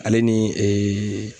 Ale ni